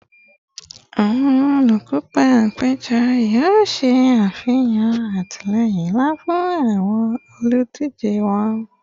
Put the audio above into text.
Awọn olukopa apejọ yoo ṣe afihan atilẹyin nla fun awọn oludije wọn